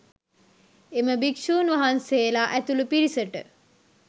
එම භික්‍ෂූන් වහන්සේලා ඇතුළු පිරිසට